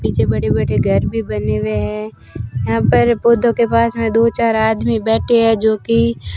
पीछे बड़े बड़े घर भी बने हुए हैं यहां पर पौधों के पास में दो चार आदमी बैठे हैं जो की --